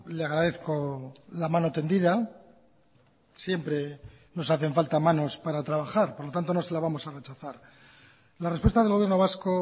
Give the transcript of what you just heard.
le agradezco la mano tendida siempre nos hacen falta manos para trabajar por lo tanto no se la vamos a rechazar la respuesta del gobierno vasco